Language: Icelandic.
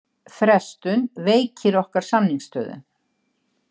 Frestun veikir okkar samningsstöðu